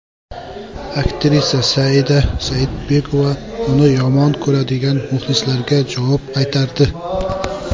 Aktrisa Saida Saidbekova uni yomon ko‘radigan muxlislarga javob qaytardi.